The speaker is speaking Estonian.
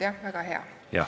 Jah, väga hea.